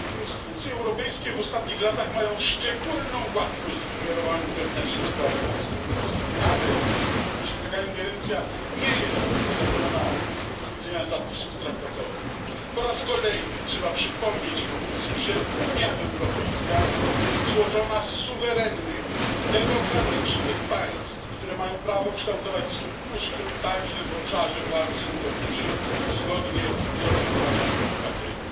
Instytucje europejskie w ostatnich latach mają szczególną łatwość ingerowania w wewnętrzne sprawy państw członkowskich, nawet jeśli taka ingerencja nie jest uzasadniona z punktu widzenia zapisów traktatowych. Po raz kolejny trzeba przypomnieć Komisji, że Unia Europejska jest złożona z suwerennych, demokratycznych państw, które mają prawo kształtować swój ustrój także w obszarze władzy sądowniczej zgodnie z oczekiwaniami obywateli.